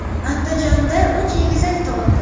Andijonda uch egizak tug‘ildi.